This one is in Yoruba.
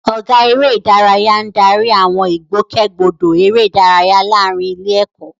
Ọ̀gá Eré ìdárayá ń darí àwọn ìgbòkègbodò eré ìdárayá láàárín ilé-ẹ̀kọ́.